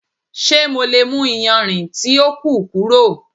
Ṣe MO le mu iyanrin ti o ku kuro?